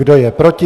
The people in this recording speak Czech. Kdo je proti?